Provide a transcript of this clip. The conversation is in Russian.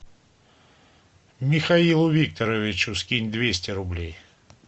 михаилу викторовичу скинь двести рублей